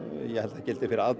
það gildi fyrir